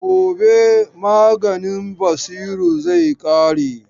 Gobe maganin Basiru zai ƙare.